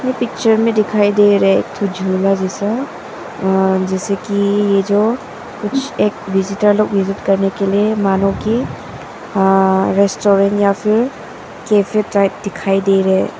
Picture में दिखाई दे रहे एक ठो झूला जैसा और जैसे कि यह जो कुछ एक विजिटर लोग विजिट करने के लिए मानो कि अ रेस्टोरेंट या फिर कैफे टाइप दिखाई दे रहे हैं।